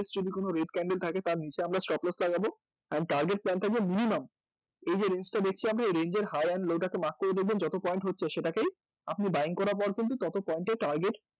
যদি কোনো red candle থাকে তার নীচে আমরা stop note লাগাবো এবং target plan থাকবে minimum এই যে range টা দেখছি আমি এই range এর high and low টা কে mark করে দেখবেন যত পয়েন্ট হচ্ছে সেটাকে আপনি buying করার পর কিন্তু তত point এ target